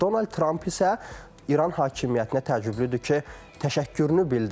Donald Tramp isə İran hakimiyyətinə təəccüblüdür ki, təşəkkürünü bildirib.